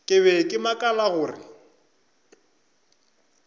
ke be ke makala gore